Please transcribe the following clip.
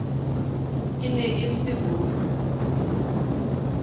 e ne e se bo